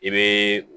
I bɛ